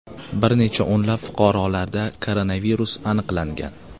Bir necha o‘nlab fuqarolarda koronavirus aniqlangan .